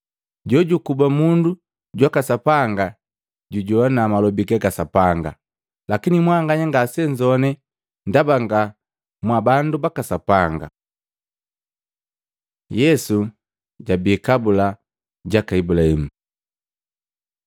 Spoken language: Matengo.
Jojukuba mundu jwaka Sapanga jujoana malobi gaka Sapanga. Lakini mwanganya ngasenzowane ndaba nga mwabandu baka Sapanga.” Yesu jabii kabula jaka Ibulahimu